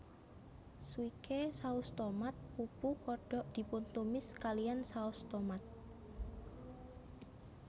Swike saus tomat pupu kodok dipuntumis kalihan saos tomat